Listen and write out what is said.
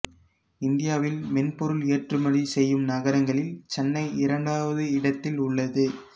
இந்தியாவில் மென்பொருள் எற்றுமதி செய்யும் நகரங்களில் சென்னை இரண்டாவது இடத்தில் உள்ளது